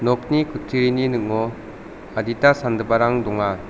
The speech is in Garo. nokni kutturini ning·o adita sangiparang donga.